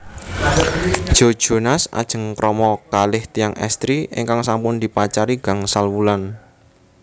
Joe Jonas ajeng krama kalih tiyang estri ingkang sampun dipacari gangsal wulan